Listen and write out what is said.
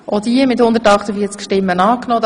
Sie haben Ziffer fünf angenommen.